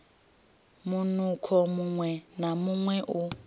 munukho muṅwe na muṅwe u